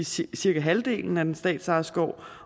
sige cirka halvdelen af den statsejede skov